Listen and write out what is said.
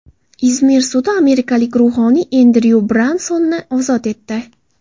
Izmir sudi amerikalik ruhoniy Endryu Bransonni ozod etdi.